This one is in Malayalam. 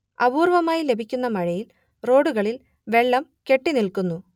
അപൂർവമായി ലഭിക്കുന്ന മഴയിൽ റോഡുകളിൽ വെള്ളം കെട്ടിനിൽക്കുന്നു